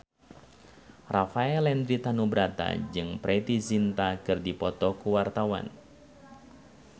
Rafael Landry Tanubrata jeung Preity Zinta keur dipoto ku wartawan